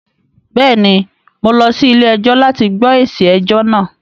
Bẹ́ẹ̀ ni, mo lọ sí ilé-ẹjọ́ láti gbọ́ èsì ẹjọ náà